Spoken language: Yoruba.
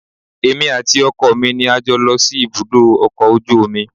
Èmi àti ọkọ mi ni a jọ lọ sí ibùdó ọkọ̀ ojú omi